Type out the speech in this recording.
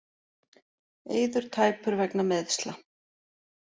Eiður tæpur vegna meiðsla